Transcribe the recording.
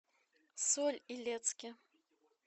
соль илецке